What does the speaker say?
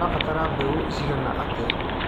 ũrabatara mbegũ cigana atia.